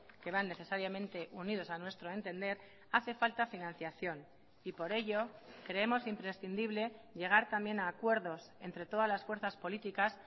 que van necesariamente unidos a nuestro entender hace falta financiación y por ello creemos imprescindible llegar también a acuerdos entre todas las fuerzas políticas